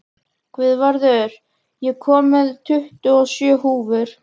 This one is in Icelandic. Guðvarður, ég kom með tuttugu og sjö húfur!